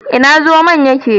Ina zomon yake?